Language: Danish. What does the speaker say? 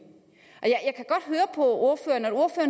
ordføreren